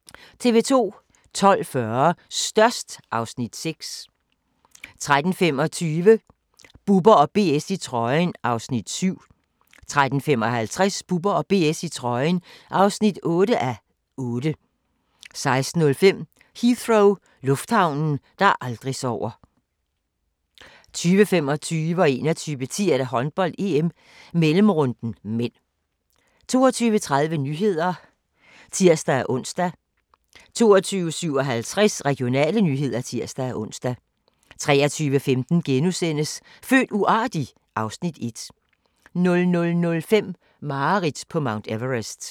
12:40: Størst (Afs. 6) 13:25: Bubber & BS i trøjen (7:8) 13:55: Bubber & BS i trøjen (8:8) 16:05: Heathrow - lufthavnen, der aldrig sover 20:25: Håndbold: EM - mellemrunden (m) 21:10: Håndbold: EM - mellemrunden (m) 22:30: Nyhederne (tir-ons) 22:57: Regionale nyheder (tir-ons) 23:15: Født uartig? (Afs. 1)* 00:05: Mareridt på Mount Everest